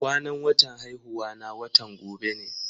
Kwanan watan haihuwana watan gobe ne.